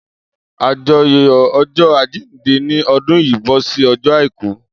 Ajoyọ ọjọ ajinde ni ọdún yìí bọ sí ọjọ àìkú